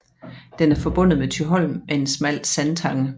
Den er forbundet med Thyholm med en smal sandtange